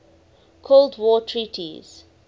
cold war treaties